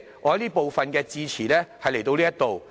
我這部分的致辭到此為止。